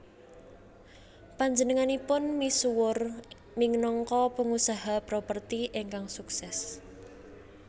Panjenenganipun misuwur minangka pengusaha properti ingkang sukses